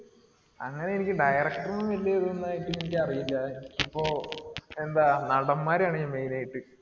അങ്ങിനെ എനിക്ക് director ഉം വല്യേ ഇതൊന്നും ആയിട്ടെനിക്ക് അറിയില്യ. ഇപ്പൊ എന്താ നടന്മാരെ ആണ് ഞാൻ main ആയിട്ട്